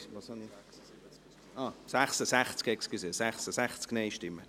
/ Schär, Schönried [PLR] / Dütschler, Hünibach [PLR] –